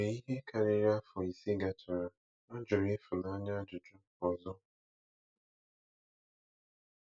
Mgbe ihe karịrị afọ ise gachara, a jụrụ Ifunanya ajụjụ ọzọ.